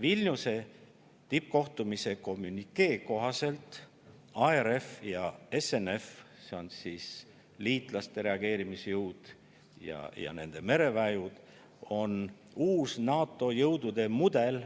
Vilniuse tippkohtumise kommünikee kohaselt on ARF ja SNF ehk liitlaste reageerimisjõud ja nende mereväejõud uus NATO jõudude mudel,